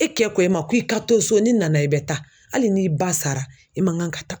E kɛ ko e ma k'i ka to so n'i nana i bɛ taa hali n'i ba sara e man kan ka taa.